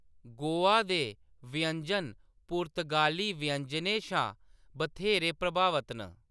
गोवा दे व्यंजन पुर्तगाली व्यंजनें शा बथेरे प्रभावत न।